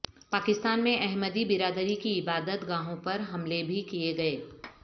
پاکستان میں احمدی برادری کی عبادت گاہوں پر حملے بھی کیے گئے